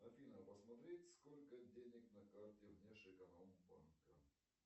афина посмотреть сколько денег на карте внешэкономбанка